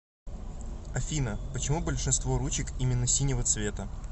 афина почему большинство ручек именно синего цвета